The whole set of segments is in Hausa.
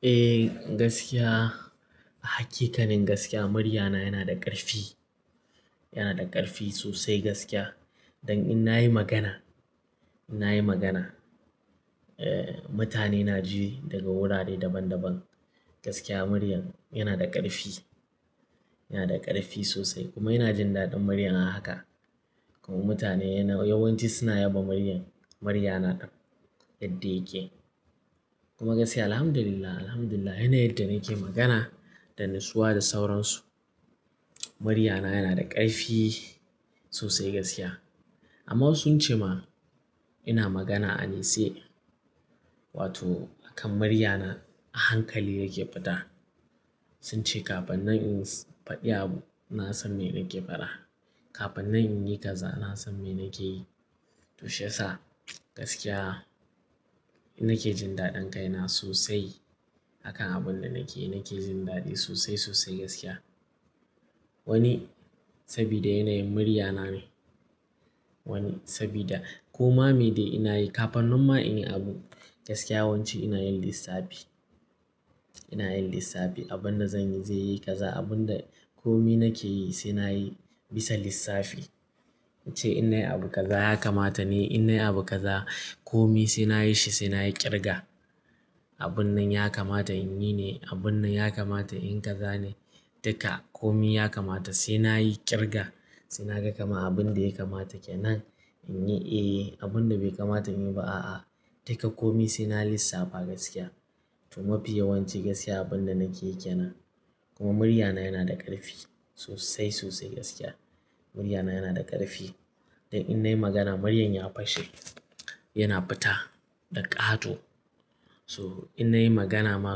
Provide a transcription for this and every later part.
Eh gaskiya, a hakikanin gaskiya muryana yana da ƙarfi. Yana da ƙarfi sosai gaskiya. Don in na yi magana, in na yi magana, eh mutane na ji daga wurare daban daban. Gaskiya muryan yana da ƙarfi, yana da ƙarfi sosai kuma yana jin daɗin muryan a haka. Kuma mutane yawanci suna yaba muryan, muryana yadda yake. Kuma gaskiya Alhamdulillah, Alhamdulillah yanayin yadda nake magana da nisowa da sauransu. Muryana yana da ƙarfi sosai gaskiya. Amma wasu sun ce ma ina magana a nitse Wato a kan muryana a hankali yake fita. Sun ce kafin nan in faɗi abu na san me nake faɗa. Kafin nan in yi kaza na san me nake yi. Tushi yasa gaskiya na ke jin daɗin kaina sosai. A kan abun da nake yi nake jin daɗi sosai sosai gaskiya. Wani sabida yanayin muryana ne. Wani sabida koma me da ina yi. Kafannin ma in yi abu gaskiya yawanci ina yin lissafi. Ina yin lissafi. Abun da zan yi zai yi kaza. Abun da komi nake yi sai na yi bisa lissafi. In ce in nayi abu kaza ya kamata ne, in nayi abu kaza komi sai na yi shi sai na yi ƙirga. Abun nan ya kamata in yi ne, abun nan ya kamata in kaza ne. Duka komi ya kamata sai na yi ƙirga. Sai na ga kama abun da ya kamata kenan in yi eh, abun da bai kamata in yi ba a a. Duka komi sai na lissafa gaskiya. Kuma fiye yawanci gaskiya abin da nake yi kenan. Kuma muryana yana da ƙarfi sosai sosai gaskiya. Muryana yana da ƙarfi. Don in na yi magana muryan ya fashe, yana fita da ƙato. So in na yi magana ma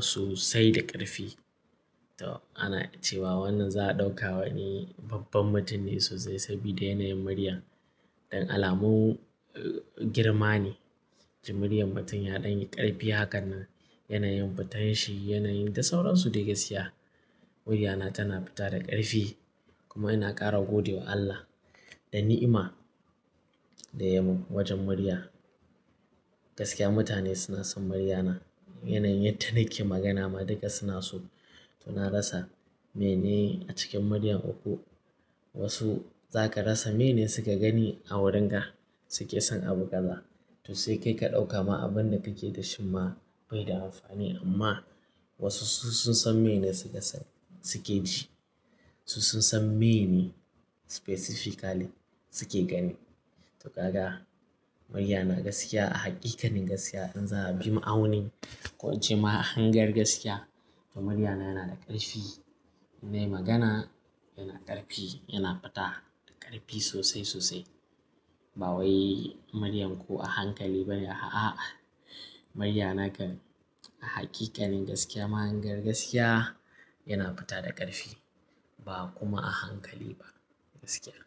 sosai da ƙarfi. To ana cewa wannan za a ɗauka wani babban mutum ne sosai sabida yanayin muryan. Don alamun girma ne. Jin muryar mutum yaɗan yi ƙarfi. Hakanan yanayin fitan shi, yanayin da sauransu da gaskiya. Muryana tana fita da ƙarfi. Kuma ina ƙara gode wa Allah da ni'ima daya yi mun wajen murya. Gaskiya mutane suna son muryana. Yanayin yadda nake magana ma duka suna so. To na rasa mene a cikin muryar ku. Wasu za ka rasa meyene su ka gani a wurin ka suke son abu kaza. To sai kai ka ɗauka ma abun da kake da shi ma bai da amfani amma wasu su sun san mene suke ji. Su sun san mene specifically suke gani. To kaga muryana gaskiya a hakikanin gaskiya in za'a bi ma'aunin ko in ce ma mahangar gaskiya to muryana yana da ƙarfi. In na yi magana yana ƙarfi, yana fita da ƙarfi sosai sosai. Ba wai muryan ko a hankali bane a'a. Muryana kan a hakikanin gaskiya, mahangar gaskiya yana fita da ƙarfi ba kuma a hankali ba gaskiya.